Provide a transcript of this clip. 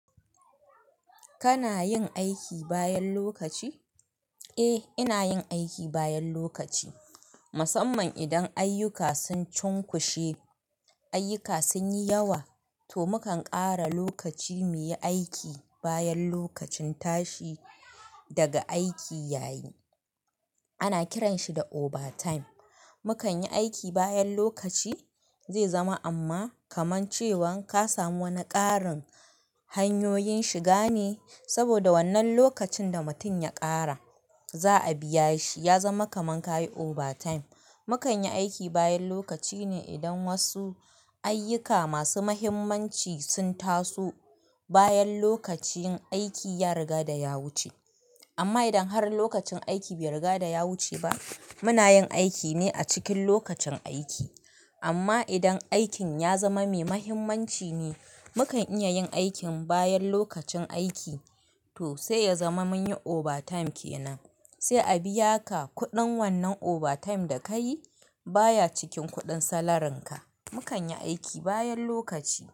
Kana yin aiki bayan lokaci? Eh, ina yin aiki bayan lokaci. Musamman idan ayyuka sun cunkushe, ayyuka sun yi yawa, to mukan ƙara lokaci muyi aiki bayan lokacin tashi daga aiki yayi. Ana kiranshi da obatime. Mukan yi aiki bayan lokaci zai zama amma kaman cewan ka samu wani ƙarin hanyoyin shiga ne, saboda wannan lokacin da mutum ya ƙara za a biya shi. Ya zama kaman ka yi overtime. Mukan yi aiki bayan lokaci ne idan wasu ayyuka masu mahimmanci sun taso bayan lokacin aiki ya riga da ya wuce. Amma idan har lokacin aiki bai riga da ya wuce ba, muna yin aiki ne a cikin lokacin aiki. Amma idan aikin ya zama mai mahimmanci ne, mukan iya yin aikin bayan lokacin aiki, to sai ya zama mun yi overtime ke nan. Sai a biya ka kuɗin wannan overtime da ka yi baya cikin kuɗin salarin ka. Mukan yi aiki bayan lokaci.